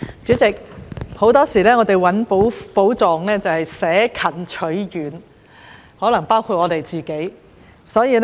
主席，很多時候，我們尋找寶藏會捨近取遠，可能包括我自己。